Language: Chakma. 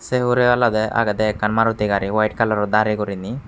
sey hurey olodey agedey ekkan maruti gari white kalaror darey guriney.